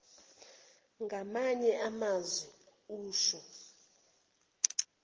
ngamanye amazwi usho